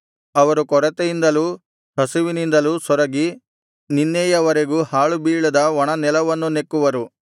ಅವರು ಕೊರತೆಯಿಂದಲೂ ಹಸಿವಿನಿಂದಲೂ ಸೊರಗಿ ನಿನ್ನೆಯವರೆಗೂ ಹಾಳುಬೀಳಾದ ಒಣ ನೆಲವನ್ನು ನೆಕ್ಕುವರು